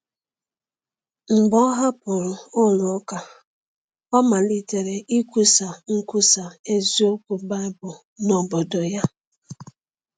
Mgbe ọ hapụrụ ụlọ ụka, ọ malitere ikwusa ikwusa eziokwu Baịbụl n’obodo ya.